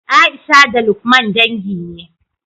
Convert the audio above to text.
Aisha da lukman dangi ne